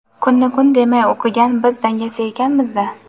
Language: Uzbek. kunni kun demay o‘qigan biz dangasa ekanmizda.